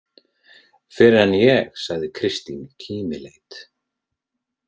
Fyrr en ég, sagði Kristín kímileit.